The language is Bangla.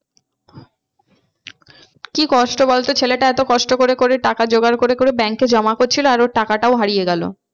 কি কষ্ট বলতো ছেলেটা এতো কষ্ট করে করে টাকা জোগাড় করে করে bank এ জমা করছিলো আর ওর টাকাটাও হারিয়ে গেলো।